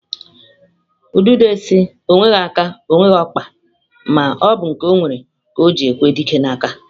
Udide si, onweghi aka, onweghi okpa ma na obu nke onwere ka oji ekwe dike na-aka.